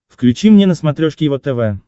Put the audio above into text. включи мне на смотрешке его тв